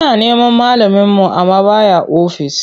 Muna neman malaminmu amma ba ya ofis.